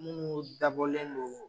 Munnu dabɔlen don